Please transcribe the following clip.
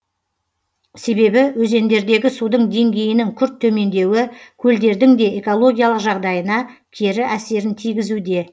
себебі өзендердегі судың деңгейінің күрт төмендеуі көлдердің де экологиялық жағдайына кері әсерін тигізуде